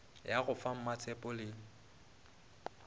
ya go fa mmatshepho le